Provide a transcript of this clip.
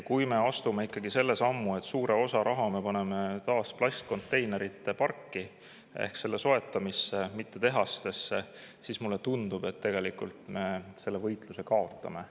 Kui me astume sellise sammu, et paneme suure osa rahast taas plastkonteinerite parki ehk selle soetamisse, mitte tehastesse, siis, mulle tundub, selle võitluse me kaotame.